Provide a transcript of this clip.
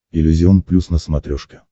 иллюзион плюс на смотрешке